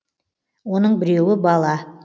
оның біреуі бала